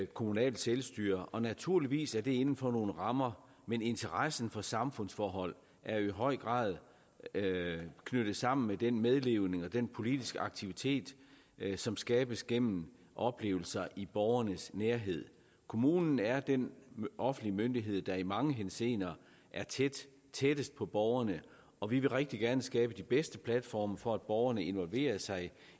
kommunalt selvstyre og naturligvis er det inden for nogle rammer men interessen for samfundsforhold er jo i høj grad knyttet sammen med den medleven og den politiske aktivitet som skabes gennem oplevelser i borgernes nærhed kommunen er den offentlige myndighed der i mange henseender er tættest på borgerne og vi vil rigtig gerne skabe de bedste platforme for at borgerne involverer sig